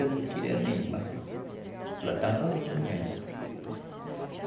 Eu não queria nem ir, mas ela estava novinha ainda.